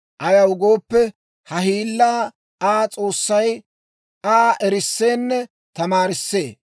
Ayaw gooppe, ha hiillaa Aa S'oossay Aa erisseenne tamaarissee.